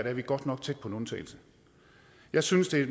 er vi godt nok tæt på en undtagelse jeg synes det